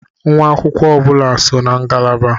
Nwa akwụkwọ ọ bụla so na ngalaba.